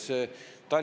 Aitäh!